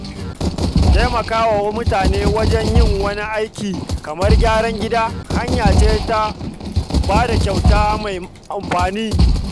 Taimakawa mutum wajen yin wani aiki kamar gyaran gida hanya ce ta ba da kyauta mai amfani.